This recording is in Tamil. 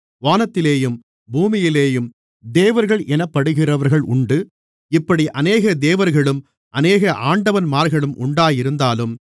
வானத்திலேயும் பூமியிலேயும் தேவர்கள் எனப்படுகிறவர்கள் உண்டு இப்படி அநேக தேவர்களும் அநேக ஆண்டவன்மார்களும் உண்டாயிருந்தாலும்